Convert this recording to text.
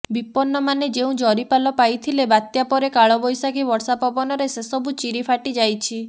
ବିପନ୍ନମାନେ ଯେଉଁ ଜରିପାଲ ପାଇଥିଲେ ବାତ୍ୟା ପରେ କାଳବ୘ଶାଖୀ ବର୍ଷା ପବନରେ ସେସବୁ ଚିରି ଫାଟିଯାଇଛି